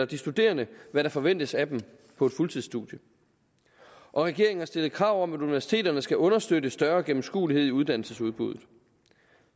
de studerende hvad der forventes af dem på et fuldtidsstudie og regeringen har stillet krav om at universiteterne skal understøtte større gennemskuelighed i uddannelsesudbuddet